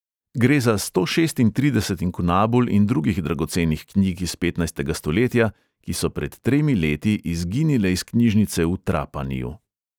Gre za sto šestintrideset inkunabul in drugih dragocenih knjig iz petnajstega stoletja, ki so pred tremi leti izginile iz knjižnice v trapaniju.